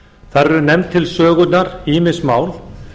þar eru nefnd til sögunnar ýmis mál